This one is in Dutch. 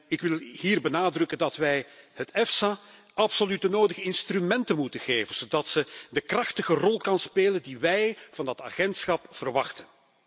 Ik wil hier benadrukken dat wij de EFSA absoluut de nodige instrumenten moeten geven, zodat ze de krachtige rol kan spelen die wij van deze autoriteit verwachten.